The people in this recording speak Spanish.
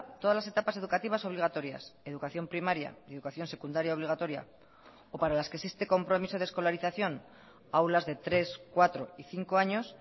todas las etapas educativas obligatorias educación primaria y educación secundaria obligatoria o para las que existe compromiso de escolarización aulas de tres cuatro y cinco años